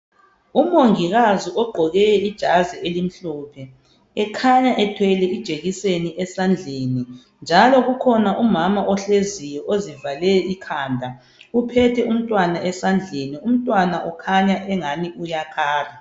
Umongikazi ogqoke ijazi elimhlophe ekhanya ethwele ijekiseni esandleni njalo kukhona umama ohleziyo ozivale ikhanda uphethe umntwana esandleni umntwana ukhanya engani uyakhala.